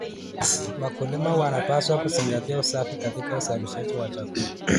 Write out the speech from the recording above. Wakulima wanapaswa kuzingatia usafi katika uzalishaji wa chakula.